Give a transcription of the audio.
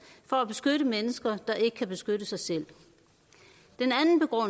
for at beskytte mennesker der ikke kan beskytte sig selv